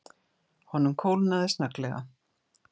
Honum kólnaði snögglega.